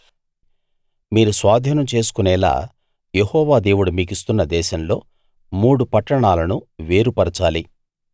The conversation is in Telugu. మీరు స్వాధీనం చేసుకొనేలా యెహోవా దేవుడు మీకిస్తున్న దేశంలో మూడు పట్టణాలను వేరు పరచాలి